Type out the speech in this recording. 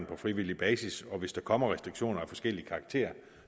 på frivillig basis og hvis der kommer restriktioner af forskellig karakter